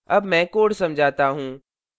अब मैं code समझाता हूँ